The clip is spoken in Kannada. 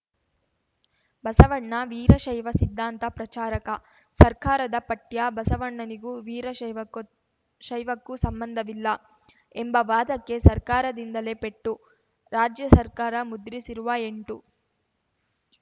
ಬಸವಣ್ಣ ವೀರಶೈವ ಸಿದ್ಧಾಂತ ಪ್ರಚಾರಕ ಸರ್ಕಾರದ ಪಠ್ಯ ಬಸವಣ್ಣನಿಗೂ ವೀರಶೈವಕ್ಕೂತ್ ಶೈವಕ್ಕೂ ಸಂಬಂಧವಿಲ್ಲ ಎಂಬ ವಾದಕ್ಕೆ ಸರ್ಕಾರದಿಂದಲೇ ಪೆಟ್ಟು ರಾಜ್ಯ ಸರ್ಕಾರ ಮುದ್ರಿಸಿರುವ ಎಂಟು